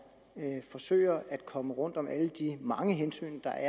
forsøger at komme rundt om alle de mange hensyn der